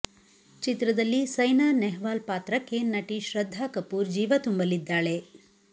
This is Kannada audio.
ಚಿತ್ರದಲ್ಲಿ ಸೈನಾ ನೆಹ್ವಾಲ್ ಪಾತ್ರಕ್ಕೆ ನಟಿ ಶ್ರದ್ಧಾ ಕಪೂರ್ ಜೀವ ತುಂಬಲಿದ್ದಾಳೆ